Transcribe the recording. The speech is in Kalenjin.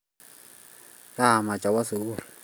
kaimech awo sukul